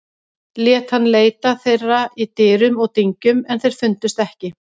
Lét hann leita þeirra í dyrum og dyngjum en þeir fundust ekki.